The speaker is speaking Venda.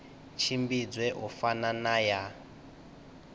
tshimbidzwe u fana na ya